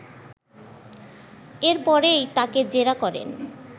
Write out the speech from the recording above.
এরপরেই তাকে জেরা করেন